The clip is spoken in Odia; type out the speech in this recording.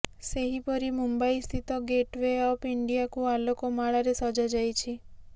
ସେହିପରି ମୁମ୍ବାଇସ୍ଥିତ ଗେଟ ୱେ ଅଫ ଇଣ୍ଡିଆକୁ ଆଲୋକ ମାଳାରେ ସଜାଯାଇଛି